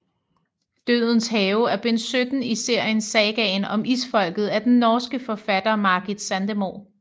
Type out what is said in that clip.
Dødens Have er bind 17 i serien Sagaen om Isfolket af den norske forfatter Margit Sandemo